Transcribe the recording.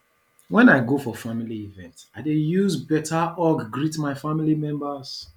wen i go for family event i dey use beta hug greet my family members